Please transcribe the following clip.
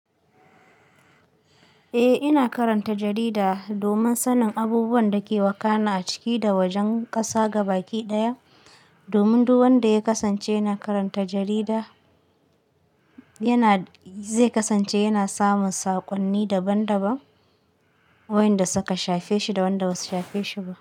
Eh, ina karanta jarida domin sanin abubuwan da ke wakana a ciki da wajen ƙasa gabaki ɗaya. Domin duk wanda ya kasance yana karanta jarida yana, zai kasance yana samin saƙonni daban daban, wayanda suka shafe shi da wanda ba su shafe shi ba.